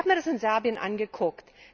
Ich habe mir das in Serbien angeguckt.